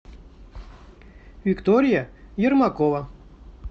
виктория ермакова